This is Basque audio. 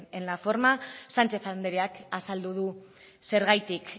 en la forma sánchez andereak azaldu du zergatik